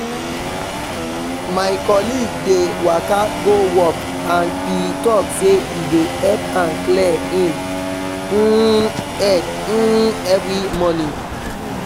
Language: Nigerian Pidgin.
my colleague dey waka go work and e talk say e dey help am clear him um head um every morning